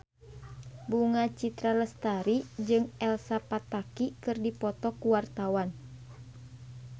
Bunga Citra Lestari jeung Elsa Pataky keur dipoto ku wartawan